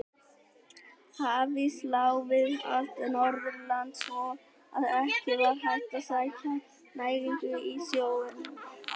Hafís lá við allt Norðurland svo að ekki var hægt að sækja næringu í sjóinn.